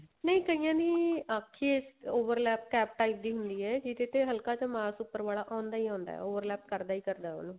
ਨਹੀਂ ਕਈਆਂ ਦੀ ਅੱਖ ਈ type ਦੀ ਹੰਦੀ ਏ ਜਿਹਦੇ ਤੇ ਹਲਕਾ ਜਾ ਮਾਸ ਉੱਪਰ ਵਾਲਾ ਆਉਂਦਾ ਈ ਆਉਂਦਾ ਕਰਦਾ ਈ ਕਰਦਾ ਉਹਨੂੰ